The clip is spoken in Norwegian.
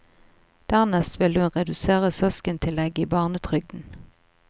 Dernest vil hun redusere søskentillegget i barnetrygden.